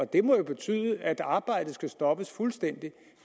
det må jo betyde at arbejdet skal stoppes fuldstændigt